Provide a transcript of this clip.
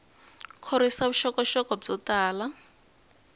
khorwisa vuxokoxoko byo tala